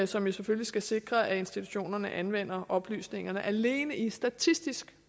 som jo selvfølgelig skal sikre at institutionerne anvender oplysningerne alene i statistisk